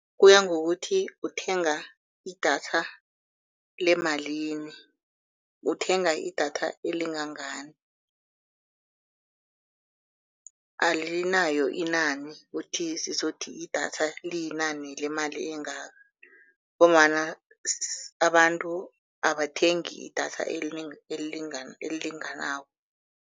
Kuya ngokuthi uthenga idatha lemalini, uthenga idatha elingangani. Alinayo inani ukuthi sizothi idatha liyinani lemali engaka ngombana abantu abathengi idatha elilinganako.